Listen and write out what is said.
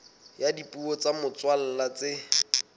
ya dipuo tsa motswalla tse